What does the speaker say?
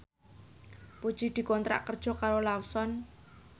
Puji dikontrak kerja karo Lawson